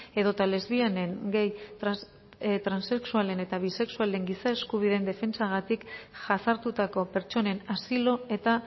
edota lesbianen gay transexualen eta bisexualen giza eskubideen defentsagatik jasartutako pertsonen asilo eta